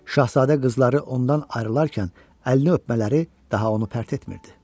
Şahzadə qızları ondan ayrılarkən əlini öpmələri daha onu pərt etmirdi.